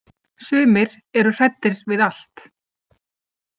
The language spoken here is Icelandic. Sumir eru hræddir við allt.